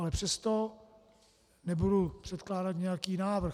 Ale přesto nebudu předkládat nějaký návrh.